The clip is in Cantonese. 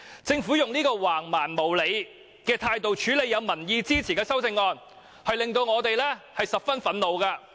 政府以這種橫蠻無理的態度處理獲民意支持的修正案，令我們十分憤怒。